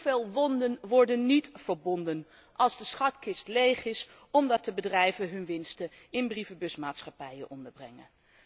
Hoeveel wonden worden niet verbonden als de schatkist leeg is, omdat de bedrijven hun winsten in brievenbusmaatschappijen onderbrengen.